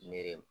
Miiri